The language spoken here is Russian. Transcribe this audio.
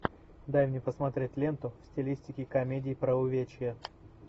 дай мне посмотреть ленту в стилистике комедии про увечья